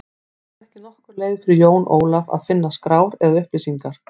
Það var ekki nokkur leið fyrir Jón Ólaf að finna skrár eða upplýsingar.